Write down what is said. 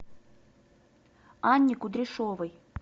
анне кудряшовой